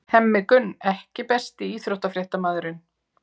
Hemmi Gunn EKKI besti íþróttafréttamaðurinn?